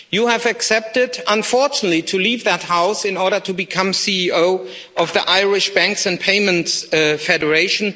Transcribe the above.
You have accepted, unfortunately, to leave that House in order to become CEO of the Irish Banks and Payments Federation.